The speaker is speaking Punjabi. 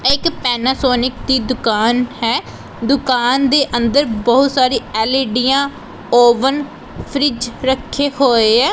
ਇਹ ਇੱਕ ਪੈਨਾਸੋਨਿਕ ਦੀ ਦੁਕਾਨ ਹੈ ਦੁਕਾਨ ਦੇ ਅੰਦਰ ਬਹੁਤ ਸਾਰੀ ਐਲਈਡੀਆਂ ਓਵਨ ਫ੍ਰਿਜ ਰੱਖੇ ਹੋਏ ਐ।